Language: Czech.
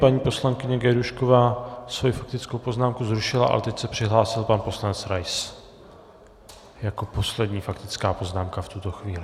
Paní poslankyně Gajdůšková svoji faktickou poznámku zrušila, ale teď se přihlásil pan poslanec Rais jako poslední faktická poznámka v tuto chvíli.